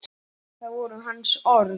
Það voru hans orð.